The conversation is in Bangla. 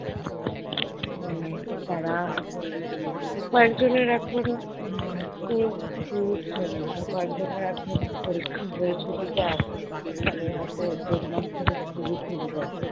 উম মানে তারা এখন কয়েকজন এর এখন উম school খুলছে আর কয়েকজনের এখন পরীক্ষা হয়ে ছুটিতে আছে তাদের হয়তো april month থেকে school খুলবে।